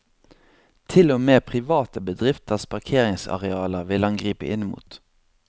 Til og med private bedrifters parkeringsarealer ville han gripe inn mot.